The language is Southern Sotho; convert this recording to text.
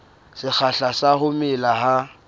sekgahla sa ho mela ha